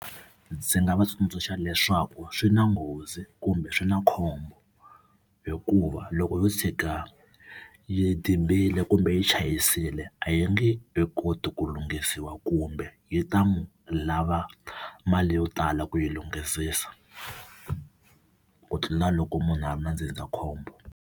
Ndzi nga va tsundzuxa leswaku swi na nghozi kumbe swi na khombo hikuva loko yo tshika yi dibile kumbe yi chayisile a yi nga nge he koti ku lunghisiwa kumbe yi ta n'wi lava mali yo tala ku yi lunghisisa ku tlula loko munhu a ri na ndzindzakhombo.